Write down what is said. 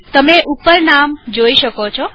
તમે ઉપર નામ જોઈ શકો છો